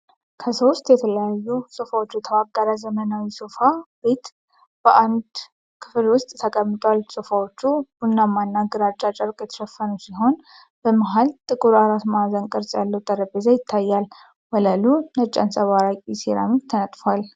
ከሶስት የተለያዩ ሶፍዎች የተዋቀረ ዘመናዊ ሶፋ ቤት በአንድ ክፍል ውስጥ ተቀምጧል። ሶፋዎቹ ቡናማና ግራጫ ጨርቅ የተሸፈኑ ሲሆን፣ በመሃል ጥቁር አራት ማዕዘን ቅርጽ ያለው ጠረጴዛ ይታያል። ወለሉ ነጭ አንፀባራቂ ሴራሚክ ተነጥፏል።